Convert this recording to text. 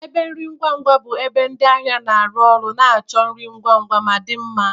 Ebe nri ngwa ngwa bụ ebe ndị ahịa na-arụ ọrụ na-achọ nri ngwa ngwa ma dị mma.